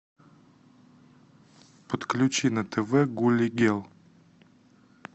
подключи на тв гулли гел